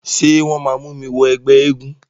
Ṣé wọ́n máa mú mi wọ ẹgbẹ́ eégún?